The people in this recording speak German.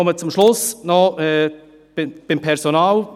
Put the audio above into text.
Ich komme zum Schluss, zum Personal;